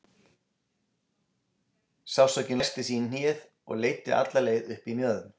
Sársaukinn læsti sig í hnéð og leiddi alla leið upp í mjöðm.